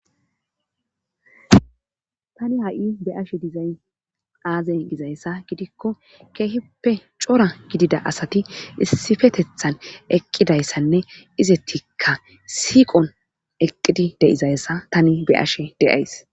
tani ha7i be ashe dizay aaze gizayssa gidikko keehippe cora gidida asati issifetethan eqqidayssanne izettikka siiqon eqqidi deizayssa tani be ashe de7ays